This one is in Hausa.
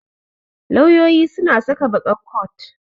Lauyoyi suna saka baƙar coat.